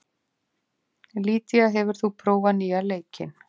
Lydía, hefur þú prófað nýja leikinn?